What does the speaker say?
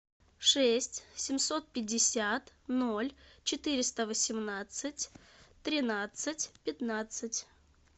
шесть семьсот пятьдесят ноль четыреста восемнадцать тринадцать пятнадцать